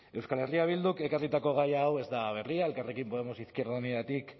euskal herria bilduk ekarritako gai hau ez da berria elkarrekin podemos izquierda unidatik